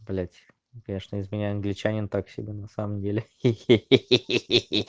блядь я что из меня англичанин так себе на самом деле хи хи хи